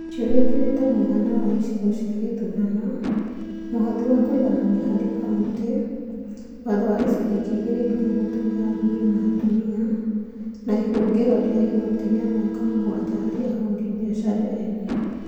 Ciũria ingĩ nĩ ta mũigana wa icigo cia gĩthurano. Mũhothi wa kũiganania harĩ kaunti. Watho wa gĩcunjĩ gĩa 2/3 gĩa athuuri na atumia. Na ihũngĩro rĩa igoti rĩa mĩaka mũgwanja harĩ ahũri biacara ethĩ.